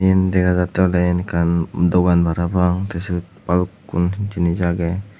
dega jatte oley eyen ekkan dogan parapang te siyot balukkun jinij agey.